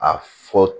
A fɔ